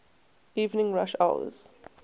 evening rush hours